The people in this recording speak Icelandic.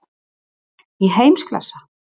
Í heimsklassa?